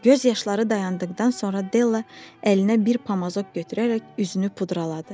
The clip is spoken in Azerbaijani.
Göz yaşları dayandıqdan sonra Della əlinə bir pamazok götürərək üzünü pudraladı.